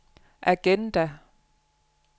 agenda